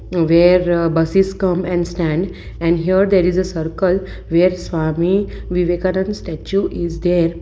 where uh buses come and stand and here there is a circle where swami vivekananda statue is there.